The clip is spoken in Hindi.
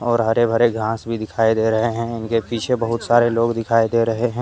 और हरे भरे घास भी दिखाई दे रहे हैं उनके पीछे बहुत सारे लोग दिखाई दे रहे हैं।